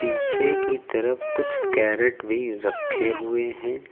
पीछे की तरफ कुछ कैरेट भी रखे हुए हैं।